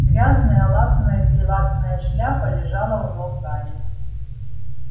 грязная латаная-перелатаная шляпа лежала у ног гарри